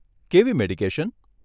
કેવી મેડિકેશન?